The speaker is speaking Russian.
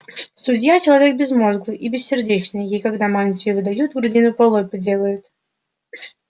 судья человек безмозглый и бессердечный ей когда мантию выдают грудину полой делают